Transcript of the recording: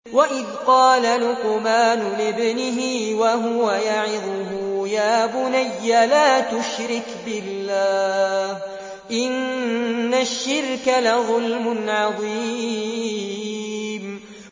وَإِذْ قَالَ لُقْمَانُ لِابْنِهِ وَهُوَ يَعِظُهُ يَا بُنَيَّ لَا تُشْرِكْ بِاللَّهِ ۖ إِنَّ الشِّرْكَ لَظُلْمٌ عَظِيمٌ